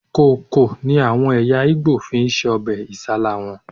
Kókò ni àwọn ẹ̀yà Ìgbò fi ń se ọbẹ̀ Isálá wọn